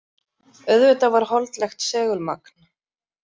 Auðvitað var holdlegt segulmagn.